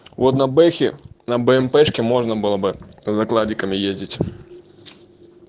вот на бэхе на бмпешки можно было бы за кладиками ездить